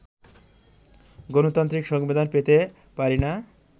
গণতান্ত্রিক সংবিধান পেতে পারি না